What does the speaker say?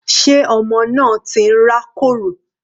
Sé ọmọ náà ti ń rá kòrò?